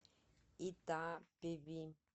итапеви